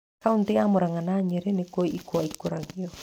Kauntĩ ya Murang'a na ya Nyĩrĩ nĩkuo ikwa ikũragio.